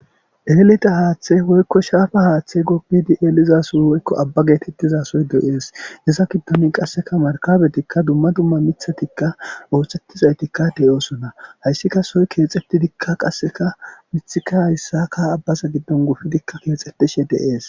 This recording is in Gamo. Eeleta haaththe woykko shaafa haaththe gopbidi eelizason woykko abba geetettizasoy de7ees issa kiddonin qasseka markabetikka dumma dumma mithatikka ooxettizaytikka deyoosona hayssika soy keexetidikka qasseka mithika hayssaka abbasa giddon gufidikka keexxetishe deees.